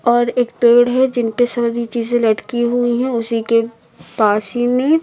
और एक पेड़ है जिनपे सारी चीजें लटकी हुई हैं उसी के पास ही में--